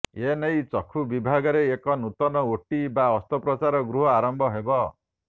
ଏନେଇ ଚକ୍ଷୁ ବିଭାଗରେ ଏକ ନୂତନ ଓଟି ବା ଅସ୍ତ୍ରୋପଚାର ଗୃହ ଆରମ୍ଭ ହେବ